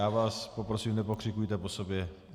Já vás prosím, nepokřikujte po sobě.